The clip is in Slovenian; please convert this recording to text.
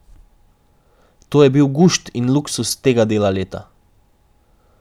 To je bil gušt in luksuz tega dela leta.